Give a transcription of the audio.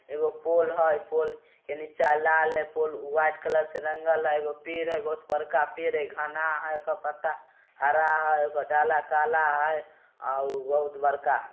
एगो पोल हय पोल निचा लाल ऐ पोल वाईट कलर से रंगल हय एगो पेड़ है बहोत बड़का पेड़ हय घना है क पता हरा हय क डाला काला हय अव बहोत बड़का--